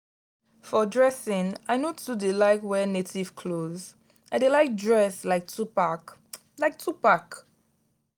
for dressing i no too dey like wear native clothes i dey like dress like 2pac. like 2pac.